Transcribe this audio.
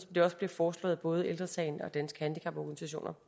det også blev foreslået at både ældre sagen og danske handicaporganisationer